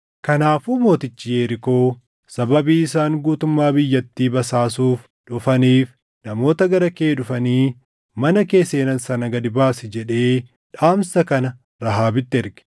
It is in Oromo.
Kanaafuu mootichi Yerikoo, “Sababii isaan guutummaa biyyattii basaasuuf dhufaniif namoota gara kee dhufanii mana kee seenan sana gad baasi” jedhee dhaamsa kana Rahaabitti erge.